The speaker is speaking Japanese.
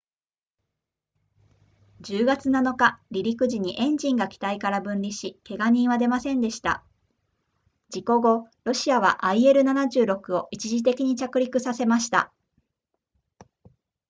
10月7日離陸時にエンジンが機体から分離しけが人は出ませんでした事故後ロシアは il-76 を一時的に着陸させました